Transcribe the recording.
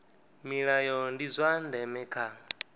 milayo ndi zwa ndeme kha